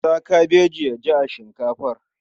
Sa kabeji ya ji a shinkafar.